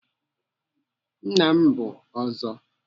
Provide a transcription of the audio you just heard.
Nna m bụ Ọzọ.